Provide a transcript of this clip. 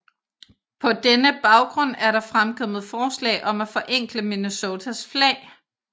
På denne baggrund er der fremkommet forslag om at forenkle Minnesotas flag